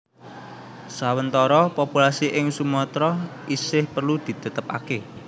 Sawentara populasi ing Sumatra isih perlu ditetapake